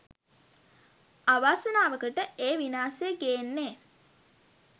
අවාසනාවකට ඒ විනාසය ගේන්නෙ